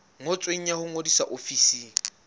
ngotsweng ya ho ngodisa ofising